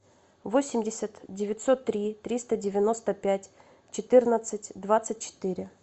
восемьдесят девятьсот три триста девяносто пять четырнадцать двадцать четыре